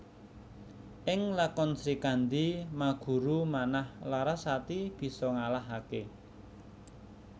Ing lakon Srikandhi Maguru Manah Larasati bisa ngalahake